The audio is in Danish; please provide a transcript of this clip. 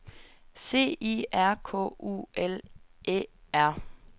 C I R K U L Æ R